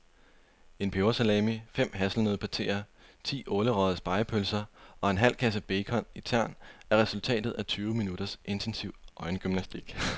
En pebersalami, fem hasselnøddepateer, ti ålerøgede spegepølser og en halv kasse bacon i tern er resultatet af tyve minutters intensiv øjengymnastik.